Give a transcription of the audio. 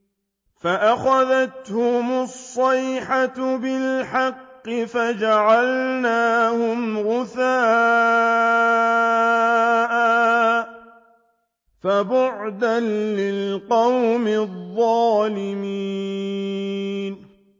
فَأَخَذَتْهُمُ الصَّيْحَةُ بِالْحَقِّ فَجَعَلْنَاهُمْ غُثَاءً ۚ فَبُعْدًا لِّلْقَوْمِ الظَّالِمِينَ